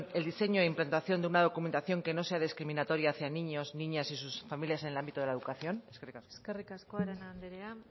el diseño e implantación de una documentación que no sea discriminatoria hacia niños niñas y sus familias en el ámbito de la educación eskerrik asko eskerrik asko arana andrea